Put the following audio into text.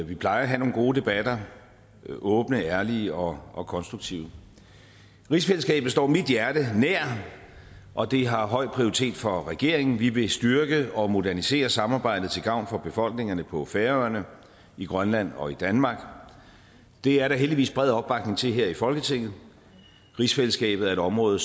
vi plejer at have nogle gode debatter der er åbne ærlige og og konstruktive rigsfællesskabet står mit hjerte nær og det har høj prioritet for regeringen vi vil styrke og modernisere samarbejdet til gavn for befolkningerne på færøerne i grønland og i danmark det er der heldigvis bred opbakning til her i folketinget rigsfællesskabet er et område